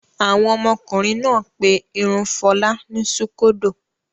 Àwọn ọmọkùnrin náà pé irun Fọlá ní ṣúkódò.